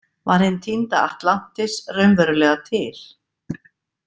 Var hin týnda Atlantis raunverulega til?